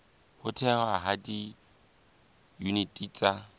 ho thehwa ha diyuniti tsa